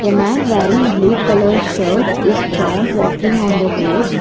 man wearing blue colour shirt is found walking on the road.